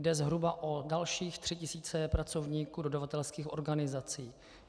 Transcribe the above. Jde zhruba o dalších 3 tisíce pracovníků dodavatelských organizací.